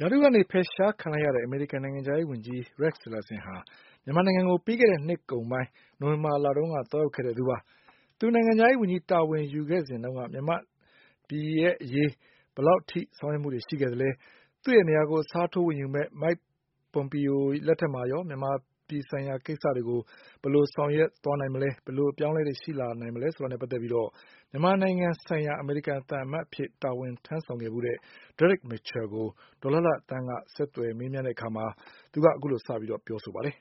ရာထူးကနေ ဖယ်ရှားခံလိုက်ရတဲ့ နိုင်ငံခြားရေး ဝန်ကြီး Rex Tillerson ဟာ မြန်မာနိုင်ငံကို ပြီးခဲ့တဲ့ နှစ်ကုန်ပိုင်း နိုဝင်ဘာလတုန်းက သွားရောက်ခဲ့တဲ့ သူပါ။ သူ နိုင်ငံခြားရေး ဝန်ကြီး တာဝန်ယူခဲ့စဉ်တုန်းက မြန်မာပြည်ရဲ့ အရေး ဘယ်လောက်ထိ ဆောင်ရွက်မှုတွေ ရှိခဲ့သလဲ။ သူ့ရဲ့နေရာကို အစားထိုးယူမယ့် Mike Pompeo လက်ထက်မှာရော မြန်မာပြည် ဆိုင်ရာ ကိစ္စတွေကို ဘယ်လို ဆောင်ရွက်သွားနိုင် မလဲ။ ဘယ်လို အပြောင်းအလဲတွေ ရှိလာနိုင်မလဲဆိုတာတွေနဲ့ ပတ်သက်လို့ မြန်မာနိုင်ငံ ဆိုင်ရာ အမေရိကန် သံအမတ်အဖြစ် တာဝန်ထမ်းဆောင်ခဲ့တဲ့ Derek Mitchell ကို ဒေါ်လှလှသန်းက ဆက်သွယ် မေးမြန်းတဲ့ အခါမှာ သူက အခုလို စပြီး ပြောဆိုပါတယ်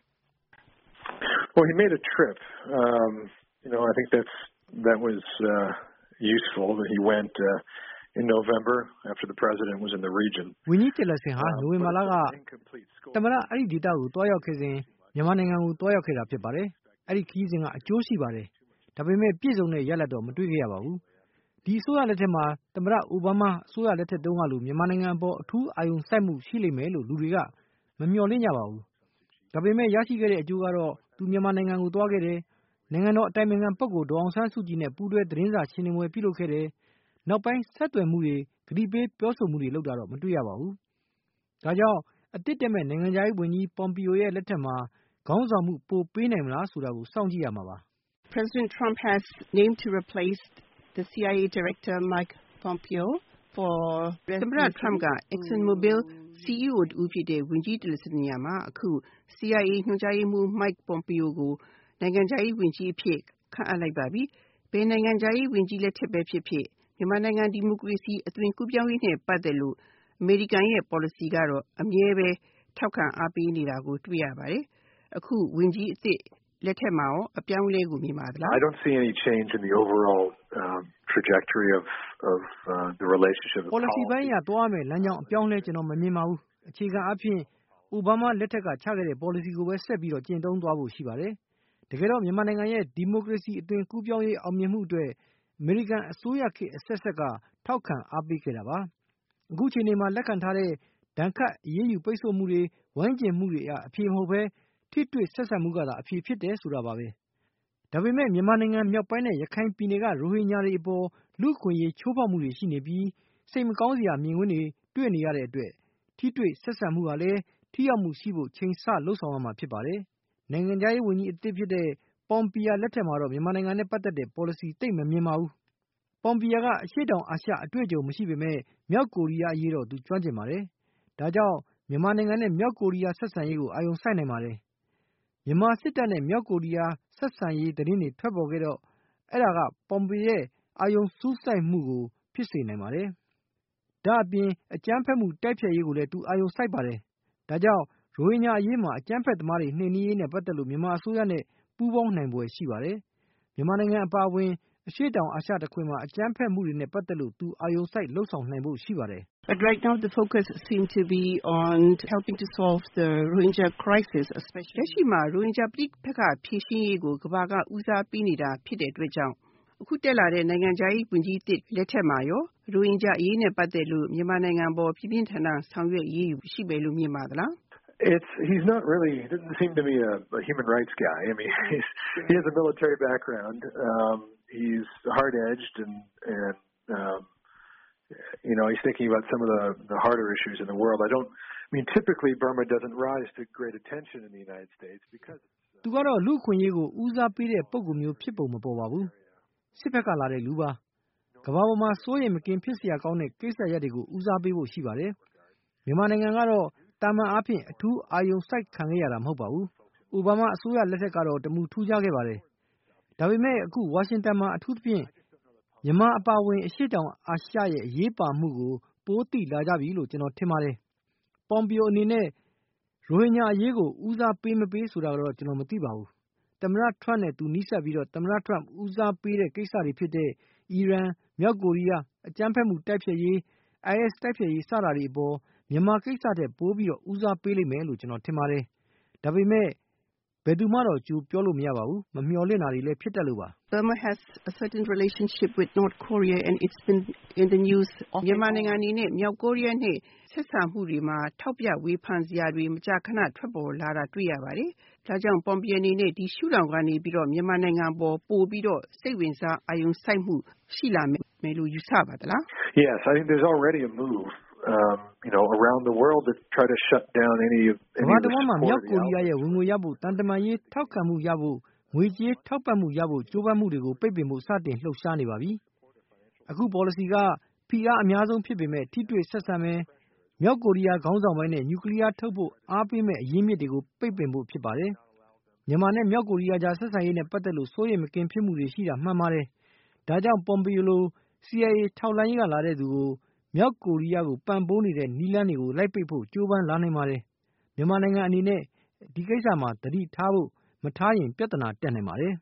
။ ဝန်ကြီး Tillerson မြန်မာနိုင်ငံကို နိုဝင်ဘာက သွားခဲ့ပါတယ်။ အဲဒီတုန်းက သမ္မတက အဲဒီဒေသဘက်ကို ရောက်နေတာဖြစ်ပါတယ်။ ဒါပေမဲ့ ထူးခြားတဲ့ အောင်မြင်မှုတော့ မရှိခဲ့ပါဘူး။ သမ္မတ Obama အစိုးရလက်ထက်နောက်ပိုင်း မြန်မာနိုင်ငံအပေါ် အာရုံစိုက်မှုက သိပ်မရှိခဲ့ပါဘူး။ ဒါပေမဲ့ သူမြန်မာနိုင်ငံကိုသွားခဲ့တယ်။ နိုင်ငံတော်အတိုင်ပင်ခံပုဂ္ဂိုလ် ဒေါ်အောင်ဆန်းစုကြည်နဲ့ ပူးတွဲသတင်းစာရှင်းပွဲလုပ်ခဲ့တယ်။ နောက်ပိုင်း ပုံမှန်ဆွေးနွေးမှုတွေ။ ပြောဆိုမှုတွေလုပ်တာ မတေ့ွရပါဘူး။ ဒါကြောင့် အသစ်တက်မယ့် နိုင်ငံခြားရေးဝန်ကြီး Pompeo လက်ထက်မှာ ခေါင်းဆောင်မှုကိုပြီး ပြနိုင်မလား စောင့်ကြည့်ရမှာပါ။ သမ္မတ Trump က Exxon Mobile CEO တဦးဖြစ်တဲ့ ဝန်ကြီး Tillerson နေရာမှာ အခု CIA ညွှန်ကြားရေးမှူး Mike Pompeo ကို နိုင်ငံခြားရေး ဝန်ကြီး အဖြစ် ခန့်အပ်လိုက်ပါပြီ။ ဘယ်နိုင်ငံခြားရေး ဝန်ကြီး လက်ထက်ဘဲ ဖြစ်ဖြစ် မြန်မာနိုင်ငံ ဒီမိုကရေစီ အသွင်ကူးပြောင်းရေးနဲ့ ပတ်သက်လို့ အမေရိကန်ရဲ့ ပေါ်လစီကတော့ အမြဲဘဲ ထောက်ခံ အားပေးနေတာကို တွေ့ရပါတယ်။ အခု ဝန်ကြီး အသစ် လက်ထက်မှာရော အပြောင်းအလဲကို မြင်ပါသလား။ ပေါ်လစီပိုင်းအရ သွားရမဲ့ လမ်းကြောင်းမှာ အပြောင်းအလဲ ကျနော်မမြင်ပါဘူး အခြေခံအားဖြင့် အိုဘားမား လက်ထက်က ချခဲ့တဲ့ ပေါ်လစီကိုပဲ ဆက်လက် ကျင့်သုံးသွားဖို့ရှိပါတယ်။ တကယ်တော့ မြန်မာနိုင်ငံရဲ့ ဒီမိုကရေစီ အသွင်ကူးပြောင်းရေး အောင်မြင်မှုအတွက် အမေရိကန် အစိုရခေတ် အဆက်ဆက်က ထောက်ခံအားပေးခဲ့တာပါ။ အခုအခြေနေမှာ လက်ခံထားတဲ့မူက ဒဏ်ခတ်ပိတ်ဆို့မှုတွေ ဝိုင်းကျဉ်မှုတွေက အဖြေမဟုတ်ဘဲ ထိတွေ့ဆက်ဆံမှုကသာ အဖြေဖြစ်တယ် ဆိုတာပါပဲ။ ဒါပေမဲ့ မြန်မာနိုင်ငံ မြောက်ပိုင်းနဲ့ ရခိုင်ပြည်နယ်က ရိုဟင်ဂျာတွေအပေါ် လူ့အခွင့်အရေးချိုးဖောက်မှုတွေ ရှိနေပြီး စိတ်မကောင်းစရာ မြင်ကွင်းတွေ တွေ့နေရတဲ့အတွက် ထိတွေ့ဆက်ဆံမှု ဟာလည်း ထိရောက်မှုရှိဖို့ ချိန်ဆလုပ်ဆောင်ရမှာ ဖြစ်ပါတယ်။ နိုင်ငံခြားရေးဝန်ကြီးသစ် Pompeo လက်ထက်မှာတော့ မြန်မာနိုင်ငံနဲ့ ပတ်သက်တဲ့ ပေါ်လစီ သိပ်မမြင်ပါဘူး။ Pompeo က အရှေ့တောင်အာရှ အတွေ့အကြုံ မရှိပေမဲ့ မြောက်ကိုရီးယား အရေးတော့ သူကျွမ်းကျင်ပါတယ်။ ဒါ့ကြောင့် မြန်မာနိုင်ငံနဲ့ မြောက်ကိုရီးယား ဆက်ဆံရေးကို အာရုံစိုက်နိုင်ပါတယ်။ မြန်မာစစ်တပ်နဲ့ မြောက်ကိုရီးယား ဆက်ဆံရေး သတင်းတွေ ထွက်နေတော့ အဲဒါ Pompeo ရဲ့ အာရုံစူးစိုက်မှုကို ဖြစ်စေနိုင်ပါတယ်။ ဒါ့အပြင် အကြမ်းဖက်မှု တိုက်ဖျက်ရေးကိုလည်း သူအာရုံစိုက်ပါတယ်။ ဒါ့ကြောင့် ရိုဟင်ဂျာအရေးမှာ အကြမ်းဖက်သမားတွေ နှိမ်နင်းရေးနဲ့ ပတ်သက်လို့ မြန်မာအစိုးရနဲ့ ပူးပေါင်းနိုင်ဖွယ်ရှိပါတယ်။ မြန်မာနိုင်ငံအပါအဝင် အရှေ့တောင်အာရှ တခွင်မှာ အကြမ်းဖက်မှုနဲ့ ပတ်သက်လို့ သူအာရုံစိုက် လုပ်ဆောင်နိုင်ဖို့ရှိပါတယ်။ လက်ရှိမှာ ရိုဟင်ဂျာ ပဋိပက္ခ ဖြေရှင်းရေးကို ကမ္ဘာက ဦးစားပေးနေတာ ဖြစ်တဲ့ အတွက်ကြောင့် အခု တက်လာတဲ့ နိုင်ငံခြားရေး ဝန်ကြီးသစ် လက်ထက်မှာရော ရိုဟင်ဂျာ အရေးနဲ့ ပတ်သက်လို့ မြန်မာနိုင်ငံ အပေါ် ပြင်းပြင်းထန်ထန် ဆောင်ရွက် အရေးယူဖို့ ရှိမယ်လို့ မြင်ပါသလား။ သူကတော့ လူ့အခွင့်အရေးကို ဦးစားပေးတဲ့ပုဂ္ဂိုလ်မျိုး ဖြစ်ပုံမပေါ်ပါဘူး။ စစ်ဖက်က လာတဲ့သူပါ။ ကမ္ဘာပေါ်မှာ စိုးရိမ်မကင်းဖြစ်စရာကောင်းတဲ့ ကိစ္စရပ်တွေကို ဦးစားပေးဖို့ရှိပါတယ်။ မြန်မာနိုင်ငံကတော့ သာမန်အားဖြင့် အထူးအာရုံစိုက်ခံခဲ့ရတာ မဟုတ်ပါဘူး။ Obama အစိုးရလက်ထက်ကတော့ တမူထူးခြားခဲ့ပါတယ်။ ဒါပေမဲ့ ခုဝါရှင်တန်မှာ အထူးသဖြင့် မြန်မာအပါအဝင် အရှေ့တောင်အာရှရဲ့ အရေးပါမှုကို ပိုပြီးသိလာကြပြီလို့ ကျွန်တော်ထင်ပါတယ်။ Pompeo အနေနဲ့ ရိုဟင်ဂျာအရေးကို ဦးစားပေး မပေးဆိုတာတော့ ကျွန်တော်မသိပါဘူး။ သမ္မတ Trump နဲ့သူနီးစပ်ပြီး Turmp ဦးစားပေးတဲ့ကိစ္စတွေဖြစ်တဲ့ အီရန်၊ မြောက်ကိုရီးယား၊ အကြမ်းဖက်မှု တိုက်ဖျက်ရေး၊ IS တိုက်ဖျက်ရေး စတာတွေအပေါ် မြန်မာကိစ္စထက် ပိုပြီးဦးစားပေးလိမ့်မယ်လို့ ကျွန်တော်ထင်ပါတယ်။ ဒါပေမဲ့ ဘယ်သူမှတော့ ကြိုပြောလို့ မရပါဘူး။ မမျှော်လင့်တာတွေ ဖြစ်တတ်လို့ပါ။ မြန်မာနိုင်ငံ အနေနဲ့ မြောက်ကိုရီးယားနဲ့ ဆက်ဆံမှုတွေမှာ ထောက်ပြဝေဖန်စရာတွေ မကြာခဏ ထွက်ပေါ်လာနေတာ တွေ့ရပါတယ်။ ဒါကြောင့် Pompeo အနေနဲ့ ဒီရှုထောင့်ကနေပြီးတော့ မြန်မာနိုင်ငံ အပေါ် ပိုပြီးတော့ စိတ်ဝင်စား အာရုံစိုက်မှု ရှိလာမယ်လို့ ယူဆပါသလား။ ကမ္ဘာတဝှမ်းမှာ မြောက်ကိုရီးယားရဲ့ ဝင်ငွေရဖို့ သံတမန်ရေး ထောက်ခံမှုရဖို့ ငွေကြေးထောက်ပံ့မှုရဖို့ ကြိုးပမ်းမှုတွေကို ပိတ်ပင်ဖို့ စတင်လှုပ်ရှားနေပါပြီ။ အခုပေါ်လစီက ဖိအား အများဆုံး ပေးမယ်၊ ထိတွေ့ဆက်ဆံမယ်၊ မြောက်ကိုရီးယား ခေါင်းဆောင်ပိုင်းနဲ့ နျူကလီယားထုတ်ဖို့ အားပေးမယ့် အရင်းအမြစ်တွေကို ပိတ်ပင်ဖို့ ဖြစ်ပါတယ်။ မြန်မာနဲ့ မြောက်ကိုရီးယား ကြာ ဆက်ဆံရေးနဲ့ ပတ်သက်လို့ စိုးရိမ်မကင်း ဖြစ်မှုတွေ ရှိတာ မှန်ပါတယ်။ ဒါ့ကြောင့် Pompeo လို CIA ထောက်လှမ်းရေးက လာတဲ့သူကို မြောက်ကိုရီးယား ကိုပံ့ပိုးနေတဲ့ နည်းလမ်းတွေကို လိုက်ပိတ်ဖို့ ကြိုးပမ်းလာနိုင်ပါတယ်။ မြန်မာနိုင်ငံအနေနဲ့ ဒီကိစ္စမှာ သတိထားဖို့၊ မထားရင် ပြဿနာ တက်နိုင်ပါတယ်။